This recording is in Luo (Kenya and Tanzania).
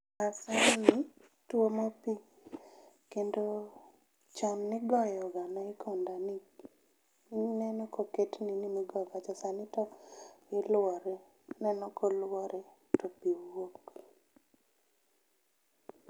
Maasai ni tuomo pii kendo chon nigoyo ga naikondani, ineno ka oket nini migoyo to sani to iluore, ineno ka oluore to pii wuok